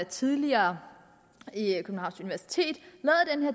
tidligere den her